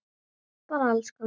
Bara alls konar.